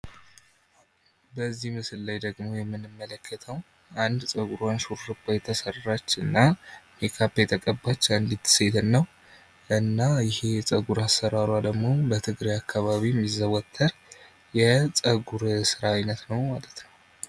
በዚህ ምስል ላይ የምንመለከተው አንድ ጸጉሯን የተሰራች እና ሜካፕ የተቀባች አንድት ሴትና እና ይሄ የጸጉር አሰራሯ ደግሞ በትግሬ አካባቢ የሚዘወተር የጸጉር ስራ አይነት ነው ማለት ነው።